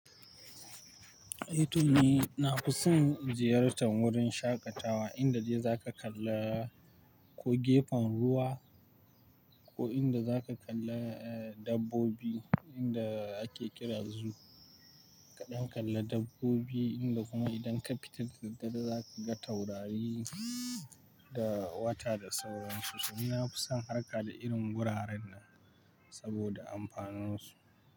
Eh to ni na fi son ziyartar wurin shaƙatawa inda dai za ka kalla ko gefen ruwa ko inda za ka kalla dabbobi inda ake kira zoo. Kaɗan kalla dabbobi inda kuma idan ka fita da daddare za ka ga taurari da wata da sauransu. To ni na fi son harka da irin wuraren nan saboda amfanunsu.